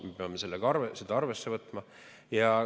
Me peame seda arvesse võtma.